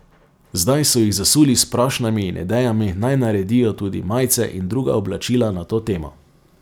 Zdaj so jih zasuli s prošnjami in idejami, naj naredijo tudi majice in druga oblačila na to temo.